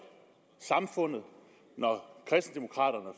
samfundet når kristendemokraterne